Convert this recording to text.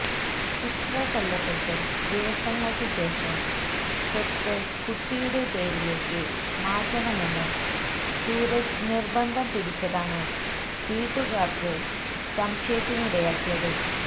ഉത്ര കൊല്ലപ്പെട്ട് ദിവസങ്ങള്ക്ക് ശേഷം സ്വത്ത് കുട്ടിയുടെ പേരിലേക്ക് മാറ്റണമെന്ന് സൂരജ് നിര്ബന്ധം പിടിച്ചതാണ് വീട്ടുകാര്ക്ക് സംശയത്തിനിടയാക്കിയത്